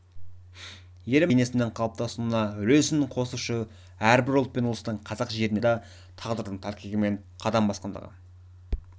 еліміздің көпэтносты бейнесінің қалыптасуына үлесін қосушы әрбір ұлт пен ұлыстың қазақ жеріне түрлі жағдайда тағдырдың тәлкегімен қадам басқандығы